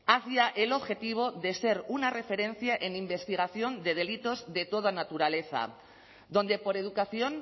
hacia el objetivo de ser una referencia en investigación de delitos de toda naturaleza donde por educación